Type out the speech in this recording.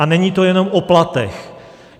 A není to jenom o platech.